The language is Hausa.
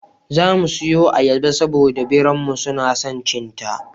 Za mu siyo ayyaba, saboda da biranmu suna son cin ta.